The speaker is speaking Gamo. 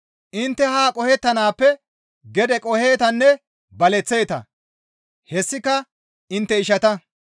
Intte haa qohettanaappe gede qoheetanne baleththeeta; hessika intte ishata,